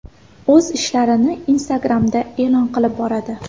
O‘z ishlarini Instagram’da e’lon qilib boradi .